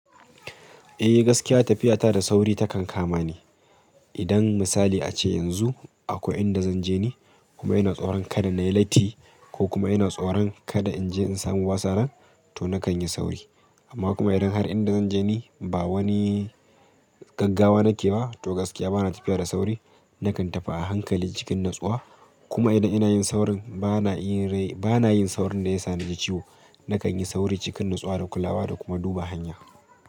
Eh gaskiya tafiya ta da sauri takan kama ni. Idan misali ace yanzu akwai inda zan je ni kuma ina tsoron kada nayi latti ko kuma ina tsoron kada in je in samu wasa nan to nakan yi sauri. Amma kuma idan har inda zan je ni ba wani Gaggawa nake ba to gaskiya bana tafiya da sauri. Nakan tafi a hankali cikin natsuwa kuma idan ina yin saurin bana yin saurin da ya sa naji ciwo. Nakan yi sauri cikin natsuwa da kulawa da kuma duba hanya.